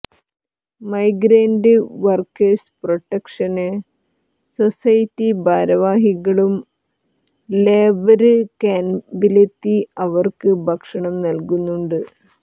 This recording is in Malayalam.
മൈഗ്രന്റ് വര്ക്കേഴ്സ് പ്രൊട്ടക്ഷന് സൊസൈറ്റി ഭാരവാഹികളും ലേബര് ക്യാമ്പിലെത്തി ഇവര്ക്ക് ഭക്ഷണം നല്കുന്നുണ്ട്